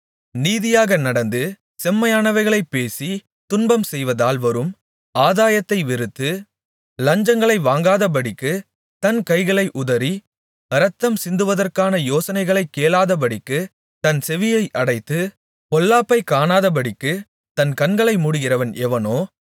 நீதியாக நடந்து செம்மையானவைகளைப் பேசி துன்பம் செய்வதால் வரும் ஆதாயத்தை வெறுத்து லஞ்சங்களை வாங்காதபடிக்குத் தன் கைகளை உதறி இரத்தம் சிந்துவதற்கான யோசனைகளைக் கேளாதபடிக்குத் தன் செவியை அடைத்து பொல்லாப்பைக் காணாதபடிக்குத் தன் கண்களை மூடுகிறவன் எவனோ